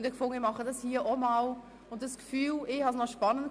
Ich wollte dies hier auch einmal ausprobieren und fand dieses Gefühl spannend.